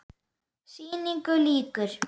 Sýningu lýkur.